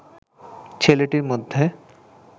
ছেলেটির মধ্যে